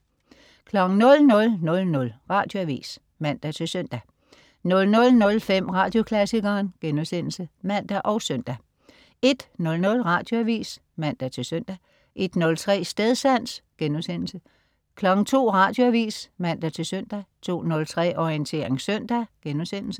00.00 Radioavis (man-søn) 00.05 Radioklassikeren* (man og søn) 01.00 Radioavis (man-søn) 01.03 Stedsans* 02.00 Radioavis (man-søn) 02.03 Orientering søndag*